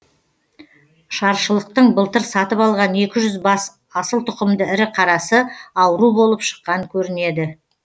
шаршылықтың былтыр сатып алған екі жүз бас асыл тұқымды ірі қарасы ауру болып шыққан көрінеді